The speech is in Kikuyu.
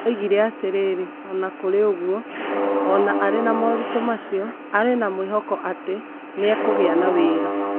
Oigire atĩrĩrĩ ,o na kũrĩ ũguo, o na arĩ na moritũ macio, arĩ o na mwĩhoko atĩ nĩ ekũgĩa na wĩra.